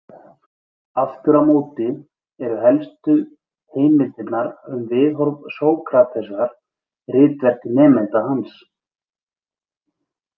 Aftur á móti eru helstu heimildirnar um viðhorf Sókratesar ritverk nemenda hans.